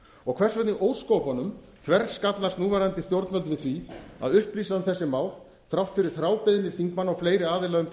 vegna í ósköpunum þverskallast núverandi stjórnvöld við því að upplýsa um þessi mál þrátt fyrir þrábeiðni þingmanna og fleiri aðila um